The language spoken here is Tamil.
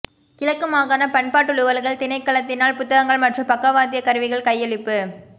கிழக்கு மாகாண பண்பாட்டலுவல்கள் திணைக்களத்தினால் புத்தகங்கள் மற்றும் பக்கவாத்தியக் கருவிகள் கையளிப்பு